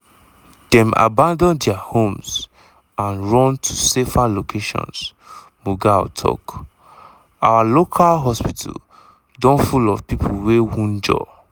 dem abandon dia homes and run to safer locations" mughal tok "our local hospital don full of pipo wey wunjure."